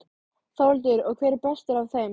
Þórhildur: Og hver er bestur af þeim?